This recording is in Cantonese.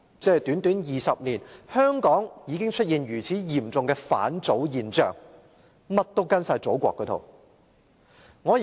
只是短短20年，香港已經出現如此嚴重的"返祖現象"——甚麼也跟從祖國那一套。